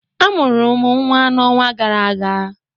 A mụrụ m nnwa n'ọnwa gara aga